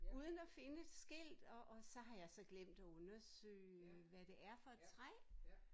Uden at finde et skilt og og så har jeg så glemt undersøge hvad det er for et træ